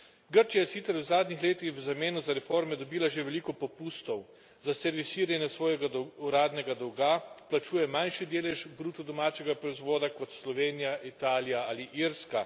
Grčija je sicer v zadnjih letih v zameno za reforme dobila že veliko popustov. Za servisiranje svojega uradnega dolga plačuje manjši delež bruto domačega proizvoda kot Slovenija, Italija ali Irska.